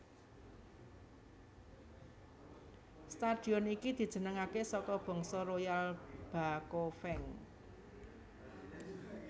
Stadion iki dijenengaké saka bangsa Royal Bakofeng